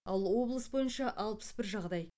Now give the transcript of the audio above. ал облыс бойынша алпыс бір жағдай